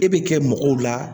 E bɛ kɛ mɔgɔw la